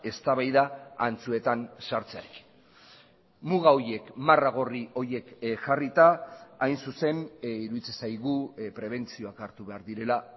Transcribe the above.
eztabaida antzuetan sartzearekin muga horiek marra gorri horiek jarrita hain zuzen iruditzen zaigu prebentzioak hartu behar direla